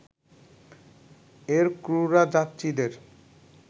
এর ক্রুরা যাত্রীদের